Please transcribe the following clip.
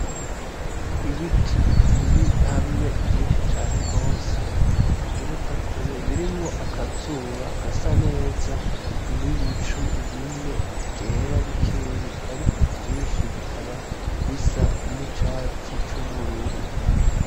Ibiti biri hamwe vyinshi cane gose bigereza kure, birimwo akazuba gasa neza n'ibicu bimwe vyera bikeyi ariko vyinshi bikaba bisa n'icatsi c'ubururu.